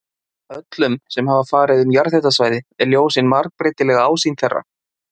Öllum sem farið hafa um jarðhitasvæði er ljós hin margbreytilega ásýnd þeirra.